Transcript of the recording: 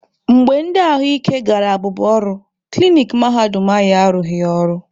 Mgbe ndi ahụ ike gara abụba ọrụ, klinik mahadum anyị arụghị ọrụ.